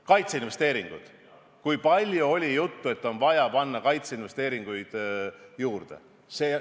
Kaitseinvesteeringud – kui palju oli juttu, et on vaja panna kaitseinvesteeringuid juurde.